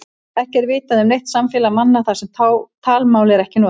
Ekki er vitað um neitt samfélag manna þar sem talmál er ekkert notað.